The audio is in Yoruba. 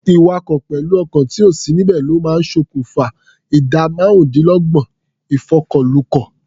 Ìwakọ̀ pẹ̀lú ọkàn tí ò sí níbẹ̀ ló máa ń ṣòkùfa ìdá márùndínlọ́gbọ̀n ìfọkọ̀lukọ̀.